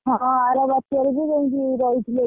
ହଁ ଆର ବାତ୍ୟା ରେ ବି ଯାଇକି ରହିଥିଲେ।